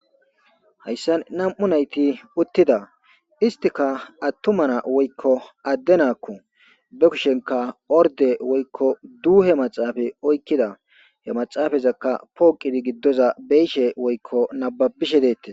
Hayssan nam7u nayti uttida istika attumana woykko adde naakku be kushenka orde woykko duuhe maxaafa oykkida he maxaafazakka pooqidi giddoza beishe woykko nababishe deettes